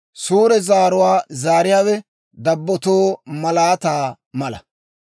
Suure zaaruwaa zaariyaawe dabbotoo malaataa mala.